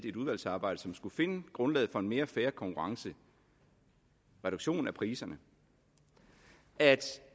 et udvalgsarbejde som skulle finde grundlaget for en mere fair konkurrence reduktionen af priserne at